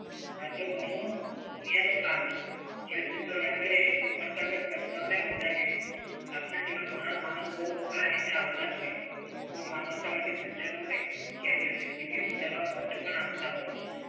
સાથે બોલીઓ એનું કામ છે. જ્યાં supervisor એ ઉમડખાબડ પ્રસ્તાવને વધાવી લીધો. આપના જેવા ઘણા મહાનુભાવો આ રીતે આવતા જ હોય છે. હું માનું ત્યાં સજ્જનોને કેન્દ્રનો સિટી ઉપાડવા મને પણ આપતા હોય છે.